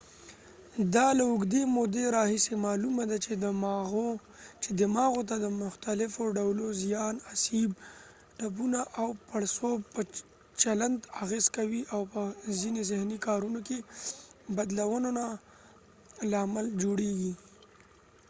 دا له اوږدې مودې راهیسې معلومه ده چې دماغو ته د مختلفو ډولو زیان اسیب ټپونه او پړسوب په چلند اغېز کوي او په ځینې ذهني کارونو کې بدلونونو لامل جوړیږي